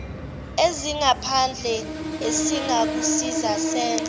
ezingaphandle esingakusiza senze